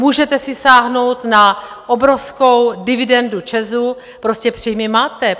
Můžete si sáhnout na obrovskou dividendu ČEZu, prostě příjmy máte.